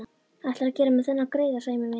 Ætlarðu að gera mér þennan greiða, Sæmi minn?